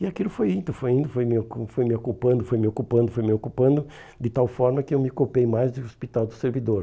E aquilo foi indo, foi indo, foi indo, foi me ocu foi me ocupando, foi me ocupando, foi me ocupando, de tal forma que eu me copei mais do Hospital do Servidor.